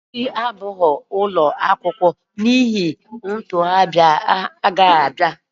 Echi abụghị ụlọ akwụkwọ n'ihi ntuli aka na-abịa